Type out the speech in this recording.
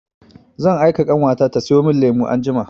Zan aika ƙanwata ta sayo min lemu anjima.